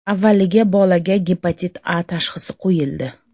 Avvaliga bolaga Gepatit A tashxisi qo‘yildi.